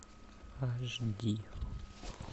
аш ди